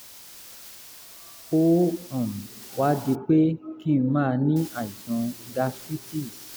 ó um wá di pé kí n máa ní àìsàn gastritis